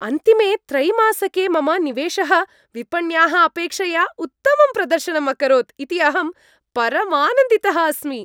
अन्तिमे त्रैमासिके मम निवेशः विपण्याः अपेक्षया उत्तमं प्रदर्शनम् अकरोत् इति अहं परमानन्दितः अस्मि।